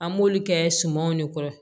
An b'olu kɛ sumanw de kɔrɔ